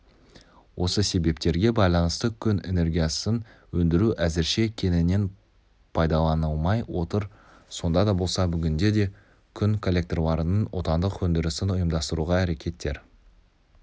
осы себептерге байланысты күн энергиясын өндіру әзірше кеңінен пайдаланылмай отыр сонда да болса бүгінде күн коллекторларының отандық өндірісін ұйымдастыруға әрекеттер